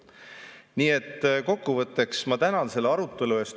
Nii et kokkuvõtteks ma tänan selle arutelu eest.